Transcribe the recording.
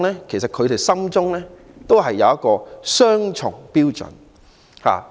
其實，他們心中都有一個雙重標準。